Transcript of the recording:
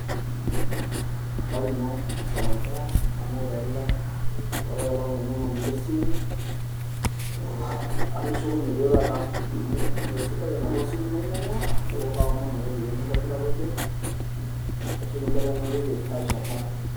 habari ino customer care nanu taa ele olopa ai olong ainyang'anyi lesimu, atushukunye duo taata amu mesidai enopa simu nainyang'ua, neaku kaomon ake peekintobirakiki ashu kimbelekenyakaki aisho engai.